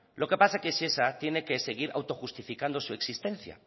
lo que pasa que shesa tiene que seguir autojustificando su existencia